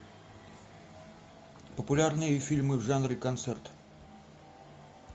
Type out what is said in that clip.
популярные фильмы в жанре концерт